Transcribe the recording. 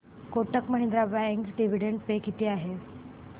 Kotak Mahindra bank dividend pay किती आहे